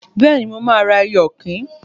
Bẹ́ẹ̀ni, mo máa ra ẹyẹ ọ̀kín